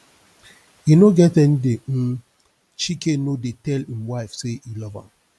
e no get any day um chike no dey tell im wife say e love am